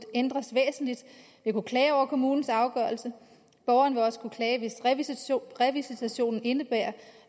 ændres væsentligt vil kunne klage over kommunens afgørelse borgeren vil også kunne klage hvis revisitationen indebærer